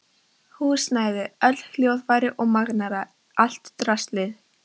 Húsnæði, öll hljóðfæri og magnara, allt draslið.